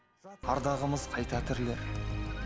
ардағымыз қайта тірілер